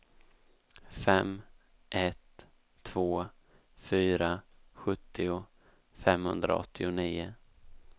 fem ett två fyra sjuttio femhundraåttionio